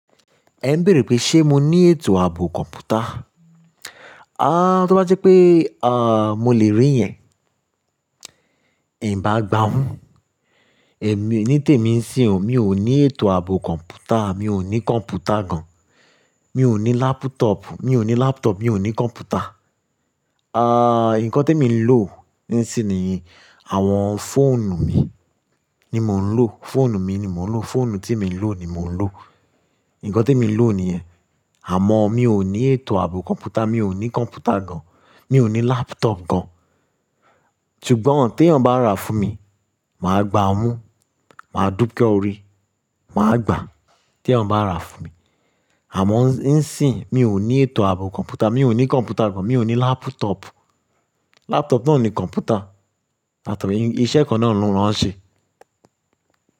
Ẹ ń béèrè pé ṣé mo ní ètò ààbò kọ̀ǹpútà? Ah, tó bá jẹ́ pé ah mo le rí yẹn, n bá gbà mú. Èmi ní tèmi sìn ọ, mi ò ní ètò ààbò kọ̀ǹpútà, mi ò ní kọ̀ǹpútà gan. Mi ò ní laptop, mi ò ní laptop, mi ò ní kọ̀ǹpútà. Ah, nǹkan temi lò níìsín ni àwọn fóònù mi ni mò ń lò. Fóònù mi ni mò ń lò, fóònù tí mo lò ni mò ń lò. Ǹkan témi lò ni yẹn. Àmọ́ mi ò ní ètò ààbò kọ̀ǹpútà, mi ò ní kọ̀ǹpútà gan, mi ò ní laptop gán. Ṣùgbọ́n tẹ̀yan bá rà fún mi, màá gbà á mú, màá dúpẹ́ ọrẹ, màá gbà tẹ̀yan bá rà fún mi. Àmọ́ níìsín, mi ò ní ètò ààbò kọ̀ǹpútà, mi ò ní kọ̀ǹpútà gan, mi ò ní laptop. Laptop náà ní kọ̀ǹpútà. Laptop iṣẹ́ kan náà lọ́ ń ṣe.